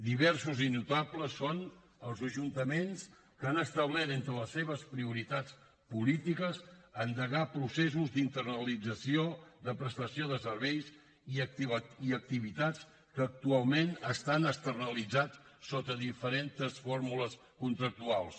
diversos i notables són els ajuntaments que han establert entre les seves prioritats polítiques endegar processos d’internalització de prestació de serveis i activitats que actualment estan externalitzats sota diferents fórmules contractuals